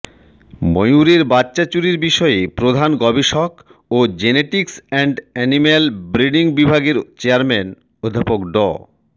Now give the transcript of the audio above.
ময়ুরের বাচ্চা চুরির বিষয়ে প্রধান গবেষক ও জেনেটিক্স অ্যান্ড এনিম্যাল ব্রিডিং বিভাগের চেয়ারম্যান অধ্যাপক ড